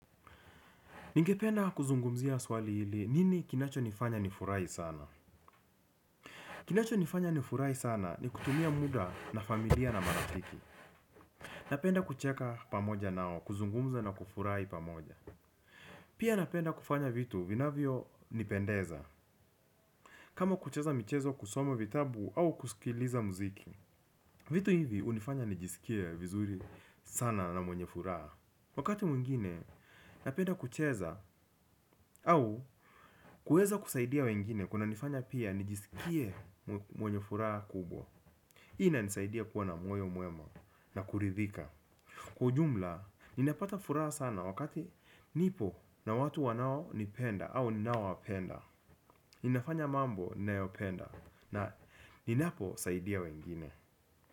Ningependa kuzungumzia swali hili nini kinacho nifanya nifurahi sana? Kinacho nifanya nifurahi sana ni kutumia muda na familia na maratiki. Napenda kucheka pamoja nao, kuzungumza na kufurahi pamoja. Pia napenda kufanya vitu vinavyo nipendeza. Kama kucheza michezo kusoma vitabu au kusikiliza muziki. Vitu hivi hunifanya nijisikie vizuri sana na mwenye furaha. Wakati mwingine napenda kucheza au kuweza kusaidia wengine kunanifanya pia nijisikie mwenye furaha kubwa. Inanisaidia kuwa na moyo mwema na kuridhika kwa ujumla ninapata furaha sana wakati nipo na watu wanaonipenda au ninaowapenda ninafanya mabo ninayopenda na ninaposaidia wengine.